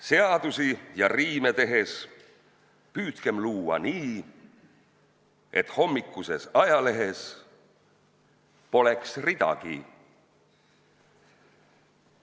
Seadusi ja riime tehes püüdkem luua nii, et hommikuses ajalehes poleks ridagi.